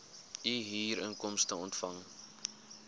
u huurinkomste ontvang